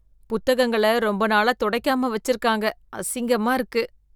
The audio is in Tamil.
புத்தகங்கள ரொம்ப நாளா துடைக்காம வச்சிருக்காங்க, அசிங்கமா இருக்கு.